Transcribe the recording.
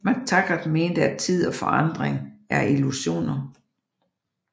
McTaggart mente at tid og forandring er illusioner